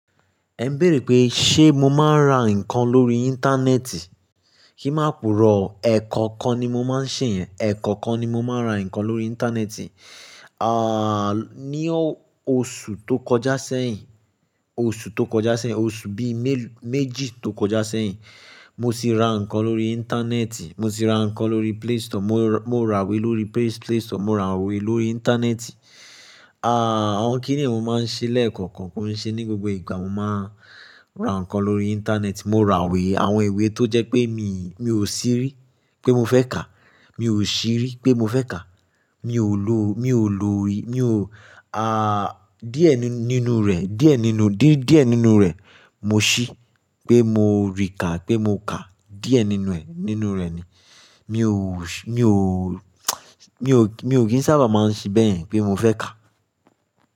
Ẹ ń béèrè pé ṣé mo máa ń ra nǹkan lórí Íńtánẹ́ẹ̀tì? Kí má purọ́ o ẹ̀ kọ̀ọ̀kan ni mo máa ń ṣe yen ẹ̀ kọ̀ọ̀kan ni mo máa ń ra nǹkan lórí Íńtánẹ́ẹ̀tì. À, ní o-oṣù tó kọjá sẹ́yìn, oṣù tó kọjá sẹ́yìn, oṣù bíi mélú-méjì tó kọjá sẹ́yìn, mo sì ra nǹkan lórí Íńtánẹ́ẹ̀tì, mo sì ra nǹkan lórí Play Store, mó ra-mo ràwẹ́ lórí Play Store, mo ràwẹ́ lórí Íńtánẹ́ẹ̀tì. À, àwọn kíni mò ń ṣe lẹ́ẹ̀kọ̀ọ̀kan kò n ṣe ní gbogbo ìgbà, mo máa ra nǹkan lórí Íńtánẹ́ẹ̀tì, mo ràwẹ́ àwọn ìwé tó jẹ́ pé mi, mi ò sì rí pé mo fẹ́ kà, mi ò sì rí pé mo fẹ́ kà, mi ò lo, mi ò lo rí, mi ò, à, díẹ̀ nínú rẹ̀, díẹ̀ nínú, dí-díẹ̀ nínú rẹ̀ mo ṣí pé mo rí kà, pé mo kà. Díẹ̀ nínú ẹ̀, nínú rẹ̀ ni. Mi ò ṣi, mi ò, mi ò, mi ò kí ń sábà máa ń ṣi bẹ́yen pé mo fẹ́ kà.